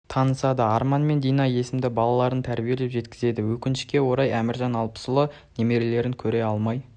танысады арман мен дина есімді балаларын тәрбиелеп жеткізді өкінішке орай әміржан алпысұлы немерелерін көре алмай